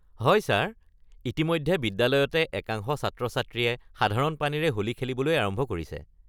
হয় ছাৰ, ইতিমধ্যে বিদ্যালয়তে একাংশ ছাত্ৰ-ছাত্ৰীয়ে সাধাৰণ পানীৰে হোলী খেলিবলৈ আৰম্ভ কৰিছে!